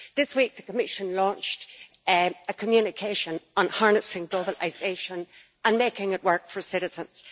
This week, the Commission launched a communication on harnessing globalisation and making it work for citizens.